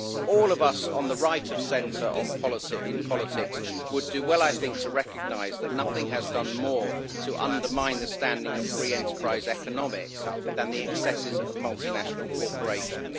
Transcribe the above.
All of us on the right of centre in politics would do well, I think, to recognise that nothing has done more to undermine the standing of free enterprise economics than the excesses of multinational corporations.